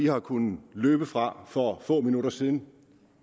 har kunnet løbe fra for få minutter siden